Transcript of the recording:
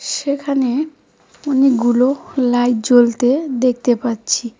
সেখানে অনেকগুলো লাইট জ্বলতে দেখতে পাচ্ছি